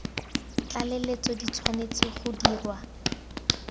tlaleletso di tshwanetse go dirwa